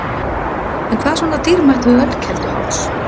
En hvað er svo dýrmætt við Ölkelduháls?